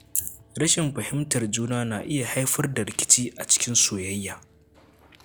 Rashin fahimtar juna na iya haifar da rikici a soyayya.